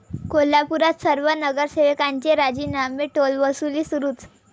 कोल्हापुरात सर्व नगरसेवकांचे राजीनामे, टोलवसुली सुरूच!